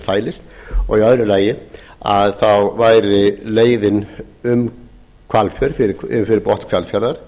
fælist og í öðru lagi væri leiðin fyrir botn hvalfjarðar